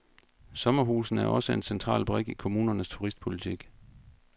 Sommerhusene er også en central brik i kommunernes turistpolitik.